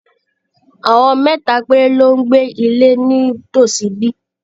Àwọn mẹ́ta péré ló ń gbé ní ilé nítòsí ibí.